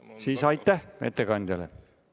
Siis aitäh ettekandjale!